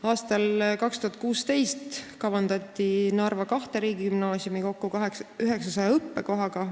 Aastal 2016 kavandati Narva kahte riigigümnaasiumi kokku 900 õppekohaga.